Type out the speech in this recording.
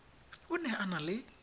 o ne a na le